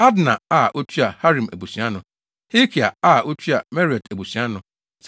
Adna a otua Harim abusua ano. Helkai a otua Meraiot abusua ano.